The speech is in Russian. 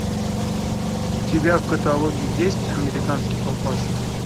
у тебя в каталоге есть американский папаша